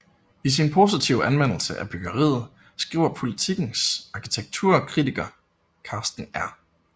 I sin positive anmeldelse af byggeriet skriver Politikens arkitekturkritiker Karsten R